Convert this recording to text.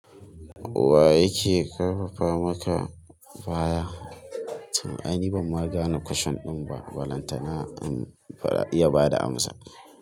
Wa yake karfafa maka baya? Ai ni ban ma gane kwashen ɗin ba, balantana in iya bada amsa.